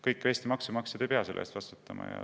Kõik Eesti maksumaksjad ei pea selle eest vastutama.